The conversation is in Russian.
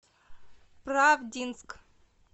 правдинск